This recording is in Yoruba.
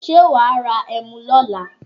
Ṣé wàá ra ẹmu lọ́la?